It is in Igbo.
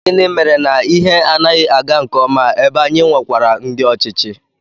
Gịnị mere na ihe anaghị aga nke ọma ebe anyị nwekwara ndị ọchịchị?